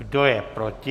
Kdo je proti?